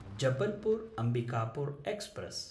Jabalpur-Ambikapur express